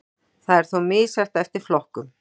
Það er þó misjafnt eftir flokkum